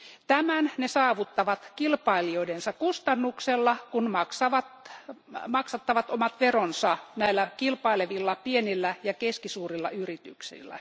Tämän ne saavuttavat kilpailijoidensa kustannuksella, kun maksattavat omat veronsa näillä kilpailevilla pienillä ja keskisuurilla yrityksillä.